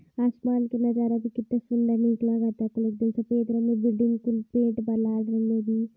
आसमान के नजारा भी कितना सुंदर निक लागता एकदम सफ़ेद रंग बिल्डिंग